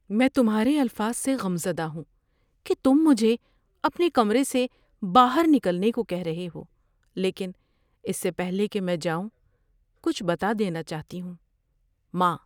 میں تمہارے الفاظ سے غم زدہ ہوں کہ تم مجھے اپنے کمرے سے باہر نکلنے کو کہہ رہے ہو، لیکن اس سے پہلے کہ میں جاؤں، کچھ بتا دینا چاہتی ہوں۔ (ماں)